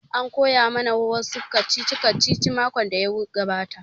An koya ma na wa su kacici kacici makon da ya gabata